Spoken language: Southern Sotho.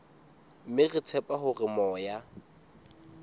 mme re tshepa hore moya